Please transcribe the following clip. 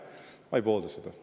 Ma ei poolda seda.